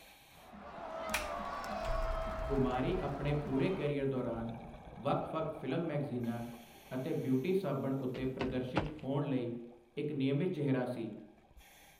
ਕੁਮਾਰੀ ਆਪਣੇ ਪੂਰੇ ਕੈਰੀਅਰ ਦੌਰਾਨ ਵੱਖ ਵੱਖ ਫ਼ਿਲਮ ਮੈਗਜ਼ੀਨਾਂ ਅਤੇ ਬਿਊਟੀ ਸਾਬਣ ਉੱਤੇ ਪ੍ਰਦਰਸ਼ਿਤ ਹੋਣ ਲਈ ਇੱਕ ਨਿਯਮਿਤ ਚਿਹਰਾ ਸੀ।